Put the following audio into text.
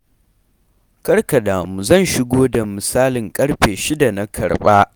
Kar ka damu zan shigo da misalin ƙarfe shida na karɓa.